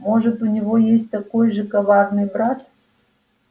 может у него есть такой же коварный брат